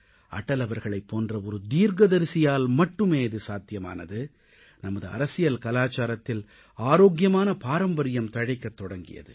அடல் அவர்களைப் போன்ற ஒரு தீர்க்கதரிசியால் மட்டுமே இது சாத்தியமானது நமது அரசியல் கலாச்சாரத்தில் ஆரோக்கியமான பாரம்பரியம் தழைக்கத் தொடங்கியது